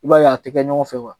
I b'a ye a te kɛ ɲɔgɔn fɛ wa